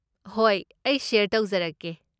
ꯍꯣꯏ, ꯑꯩ ꯁꯦꯌꯔ ꯇꯧꯖꯔꯛꯀꯦ꯫